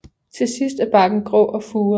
Til sidst er barken grå og furet